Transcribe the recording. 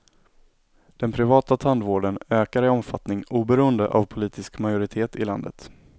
Den privata tandvården ökar i omfattning oberoende av politisk majoritet i landet.